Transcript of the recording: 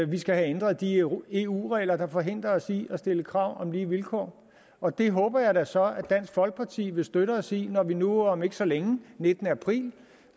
vi skal have ændret de eu regler der forhindrer os i at stille krav om lige vilkår og det håber jeg da så at dansk folkeparti vil støtte os i når vi nu om ikke så længe den nittende april